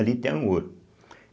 Ali tem o ouro.